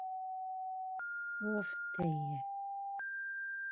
Hofteigi